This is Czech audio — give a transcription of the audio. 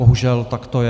Bohužel, tak to je.